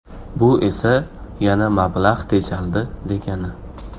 Bu esa yana mablag‘ tejaldi, degani.